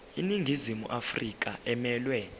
iningizimu afrika emelwe